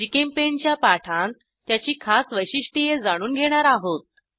GChemPaint च्या पाठांत त्याची खास वैशिष्ट्ये जाणून घेणार आहोत